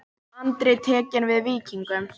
Andri tekinn við Víkingum